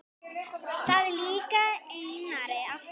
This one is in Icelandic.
Það líkaði Einari alltaf.